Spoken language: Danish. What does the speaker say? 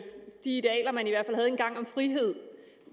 om frihed